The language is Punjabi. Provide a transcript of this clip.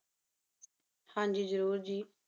ਹਾਂ ਜੀ ਜ਼ਰੂਰ ਜੀ,